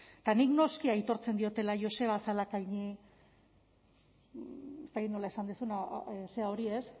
eta nik noski aitortzen diodala joseba zalakaini ez dakit nola esan duzun zera hori ez